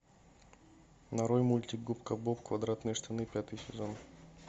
нарой мультик губка боб квадратные штаны пятый сезон